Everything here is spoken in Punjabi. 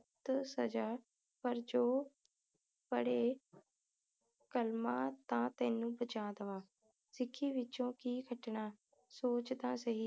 ਤੇ ਸਜਾ ਪਰ ਜੋ ਪੜ੍ਹੇ ਕਲਮਾ ਤਾ ਤੈਨੂੰ ਬਚਾ ਦਵਾ ਸਿੱਖੀ ਵਿੱਚੋ ਕਿ ਸਿਟਣਾ ਸੋਚ ਤਾ ਸਹੀ